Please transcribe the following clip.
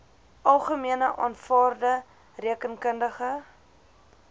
algemene aanvaarde rekeningkundige